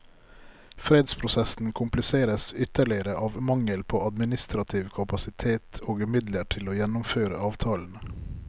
Fredsprosessen kompliseres ytterligere av mangel på administrativ kapasitet og midler til å gjennomføre avtalene.